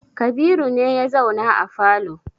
Kabiru ne ya zauna a falo.